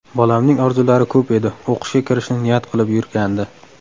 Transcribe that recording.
Bolamning orzulari ko‘p edi: o‘qishga kirishni niyat qilib yurgandi.